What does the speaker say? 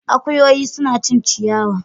Akuyoyi suna cin ciyawa.